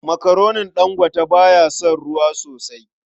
Makaronin Dangote ba ya son ruwa sosai.